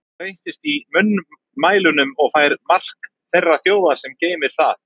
Það breytist í munnmælunum og fær mark þeirrar þjóðar, sem geymir það.